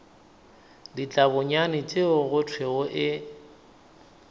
ditlabonyane tšeo go thwego e